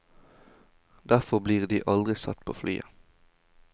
Derfor blir de aldri satt på flyet.